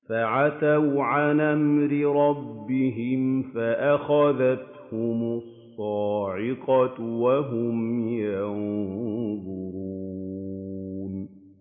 فَعَتَوْا عَنْ أَمْرِ رَبِّهِمْ فَأَخَذَتْهُمُ الصَّاعِقَةُ وَهُمْ يَنظُرُونَ